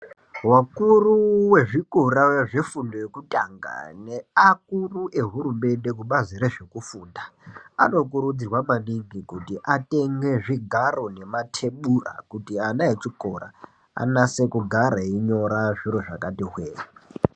Vakuru wezVikora zvefundo yekutanga neakuru ehurumende kubazi rwzvekufunda anokurudzirwa maningi kuti atenge zvigaro nematebura kuti ana echikora anyase kugara einyora zviro zvakati hwee.